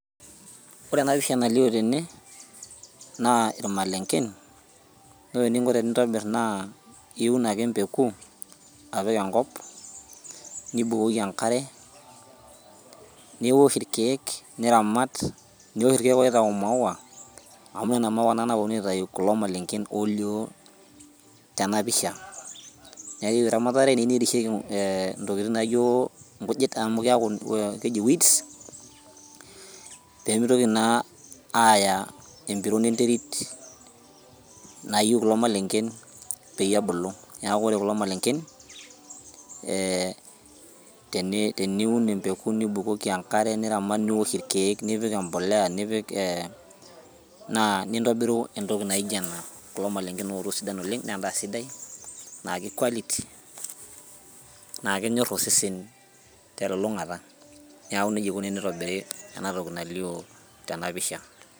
Ore enapisha nalio tene, naa ilmalenken, ore eninko tenintobir naa iun ake empeku apik enkop, nibukoki enkare, niwosh irkeek niramat nipik irkeek oitau imaua, amu ina maua naa naponu aitayu kulo malenken olio tenapisha. Nekiu eramatare neu nerisheki intokiting naijo inkujit amu keeku keji weeds, pemitoki naa aya empiron enterit nayieu kuko malenken peyie ebulu. Neeku ore kulo malenken, teniun empeku nibukoki enkare niramat niwosh irkeek, nipik empolea, nipik naa nintobiru entoki naijo ena, kulo malenken ooto sidan oleng nendaa sidai, naa ki quality ,naa kenyor osesen telulung'ata. Neeku nejia ikuni tenitobiri enatoki nalio tenapisha.